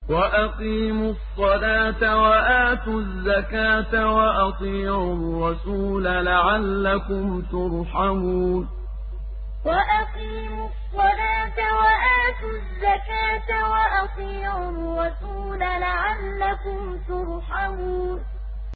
وَأَقِيمُوا الصَّلَاةَ وَآتُوا الزَّكَاةَ وَأَطِيعُوا الرَّسُولَ لَعَلَّكُمْ تُرْحَمُونَ وَأَقِيمُوا الصَّلَاةَ وَآتُوا الزَّكَاةَ وَأَطِيعُوا الرَّسُولَ لَعَلَّكُمْ تُرْحَمُونَ